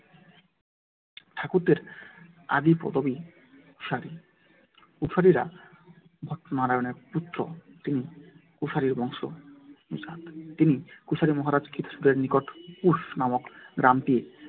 ঠাকুরদের আদি পদবী কুশারী। কুশারীরা ভট্টনারায়ণের পুত্র দীন কুশারীর বংশ তিনি দীন কুশারী মহারাজ স্কুল এর নিকট কুশ নামক গ্রামটি